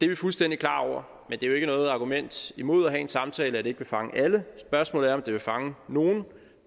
vi fuldstændig klar over men det er jo ikke noget argument imod at have en samtale at det ikke vil fange alle spørgsmålet er om det vil fange nogle og